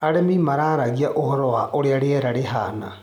Arĩmi mararagia ũhoro wa ũrĩa riera rĩhana.